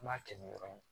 An b'a kɛ ni yɔrɔ in ye